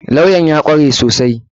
Kawyan ya kware sosai.